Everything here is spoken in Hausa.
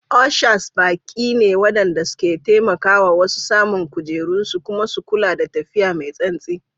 Ushers baƙi ne waɗanda ke taimaka wa wasu samun kujerunsu kuma su kula da tafiya mai santsi.